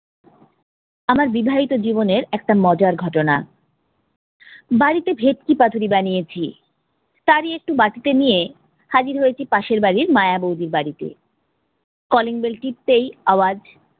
আমার বিবাহিত জীবনের একটা মজার ঘটনা, বাড়িতে ভেটকি পাতুরি বানিয়েছি। তারই একটু বাটিতে নিয়ে হাজির হয়েছি পাশের বাড়ির মায়া বৌদির বাড়িতে। calling bell টিপতেই আওয়াজ